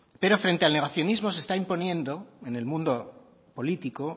pero frente al negacionismo se está imponiendo en el mundo político